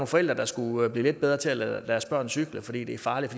forældre der skulle blive lidt bedre til at lade deres børn cykle fordi det er farligt